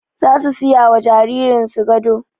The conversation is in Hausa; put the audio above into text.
Zasu siyawa jaririn su gado